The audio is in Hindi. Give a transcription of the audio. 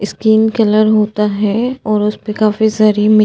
इस्कीन कलर होता है और उसपे काफी सारी मि --